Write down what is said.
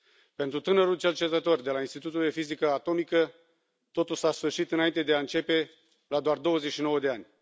Pentru tânărul cercetător de la Institutul de Fizică Atomică, totul s a sfârșit înainte de a începe, la doar 29 de ani.